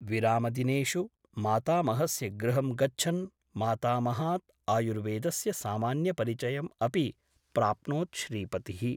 विरामदिनेषु मातामहस्य गृहं गच्छन् मातामहात् आयुर्वेदस्य सामान्य परिचयम् अपि प्राप्नोत् श्रीपतिः ।